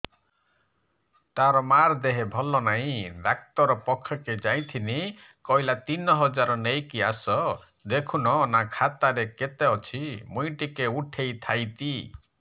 ତାର ମାର ଦେହେ ଭଲ ନାଇଁ ଡାକ୍ତର ପଖକେ ଯାଈଥିନି କହିଲା ତିନ ହଜାର ନେଇକି ଆସ ଦେଖୁନ ନା ଖାତାରେ କେତେ ଅଛି ମୁଇଁ ଟିକେ ଉଠେଇ ଥାଇତି